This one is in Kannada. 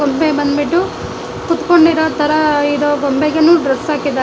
ಗೊಂಬೆ ಬಂದ್ಬಿಟ್ಟು ಕುತ್ಕೊಂಡಿರೋತರ ಇರೋ ಗೊಂಬೆಗೆನು ಡ್ರೆಸ್ ಹಾಕಿದ್ದಾರೆ.